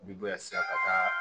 Bi bɔ yan sisan ka taa